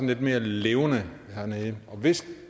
lidt mere levende hernede og hvis